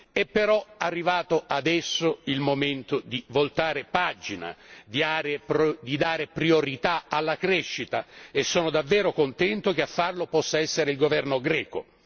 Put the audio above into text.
È però arrivato adesso il momento di voltare pagina, di dare priorità alla crescita e sono davvero contento che a farlo possa essere il governo greco.